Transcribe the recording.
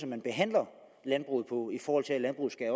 man behandler landbruget på i forhold til at landbruget